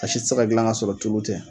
A si tɛ se ka gilan ka sɔrɔ tulu tɛ.